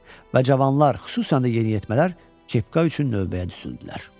Və cavanlar, xüsusən də yeniyetmələr kepka üçün növbəyə düzüldülər.